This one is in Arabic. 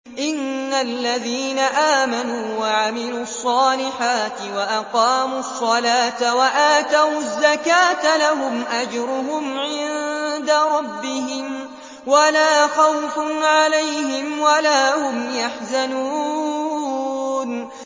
إِنَّ الَّذِينَ آمَنُوا وَعَمِلُوا الصَّالِحَاتِ وَأَقَامُوا الصَّلَاةَ وَآتَوُا الزَّكَاةَ لَهُمْ أَجْرُهُمْ عِندَ رَبِّهِمْ وَلَا خَوْفٌ عَلَيْهِمْ وَلَا هُمْ يَحْزَنُونَ